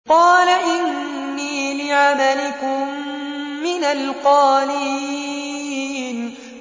قَالَ إِنِّي لِعَمَلِكُم مِّنَ الْقَالِينَ